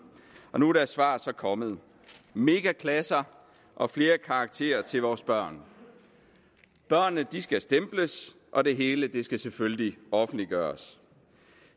og nu er dens svar så kommet megaklasser og flere karakterer til vores børn børnene skal stemples og det hele skal selvfølgelig offentliggøres